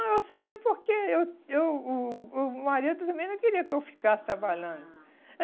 eu saí porque eu eu o o marido também não queria que eu ficasse trabalhando. Ah